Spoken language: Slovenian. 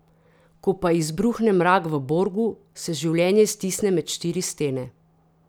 Ko pa izbruhne mrak v Borgu, se življenje stisne med štiri stene.